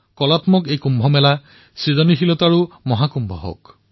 কলাত্মকতাৰ এই কুম্ভ সৃজন শক্তিৰো মহাকুম্ভ হওক